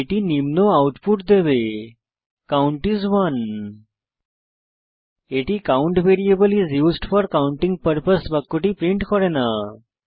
এটি নিম্ন আউটপুট দেবে কাউন্ট আইএস 1 এটি count variable is used for counting purpose বাক্যটি প্রিন্ট করে না